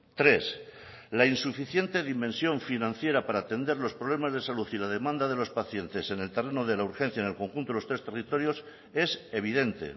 tres la insuficiente dimensión financiera para atender los problemas de salud y la demanda de los pacientes en el terreno de la urgencia en el conjunto de los tres territorios es evidente